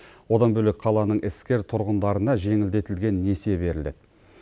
одан бөлек қаланың іскер тұрғындарына жеңілдетілген несие беріледі